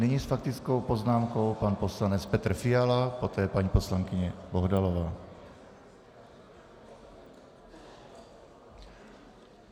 Nyní s faktickou poznámkou pan poslanec Petr Fiala, poté paní poslankyně Bohdalová.